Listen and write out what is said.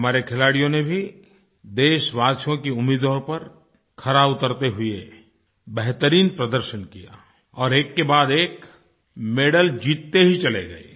हमारे खिलाडियों ने भी देशवासियों की उम्मीदों पर खरा उतरते हुए बेहतरीन प्रदर्शन किया और एककेबाद एक मेडल जीतते ही चले गए